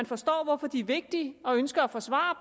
forstår hvorfor de er vigtige og ønsker at forsvare